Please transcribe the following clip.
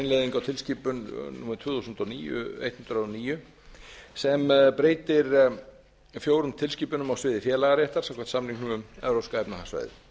innleiðingu á tilskipun tvö þúsund og níu hundrað og níu e b sem breytir fjórum tilskipunum á sviði félagaréttar samkvæmt samningnum um evrópska efnahagssvæðið